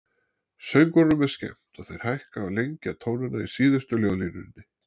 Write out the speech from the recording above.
Söngvurunum er skemmt og þeir hækka og lengja tónana í síðustu ljóðlínunni.